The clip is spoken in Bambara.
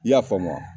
I y'a faamu wa